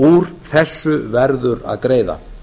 úr þessu verður að greiða